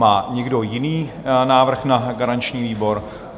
Má někdo jiný návrh na garanční výbor?